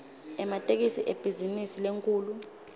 ematekisi ibhizinisi lenkhulu